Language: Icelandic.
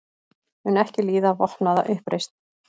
Mun ekki líða vopnaða uppreisn